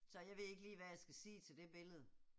Så jeg ved ikke lige hvad jeg skal sige til det billede